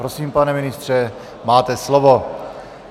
Prosím, pane ministře, máte slovo.